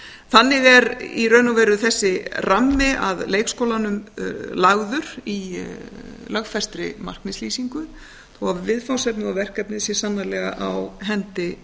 þannig er í raun og veru þessi rammi að leikskólanum lagður í lögfestri markmiðslýsingu þó að viðfangsefnið og verkefnið sé sannarlega á hendi